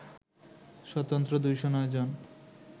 স্বতন্ত্র ২০৯ জন